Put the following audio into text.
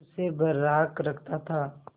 उसे बर्राक रखता था